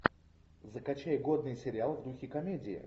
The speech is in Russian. закачай годный сериал в духе комедии